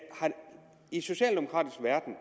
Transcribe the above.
i den socialdemokratiske verden